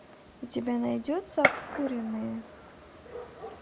у тебя найдется обкуренные